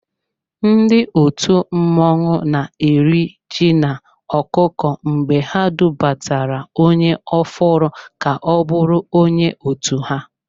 Ndị òtù mmọnwụ na eri ji na-ọkụkọ mgbe ha dubatara onye ofụru ka-ọbụrụ onye otu ha.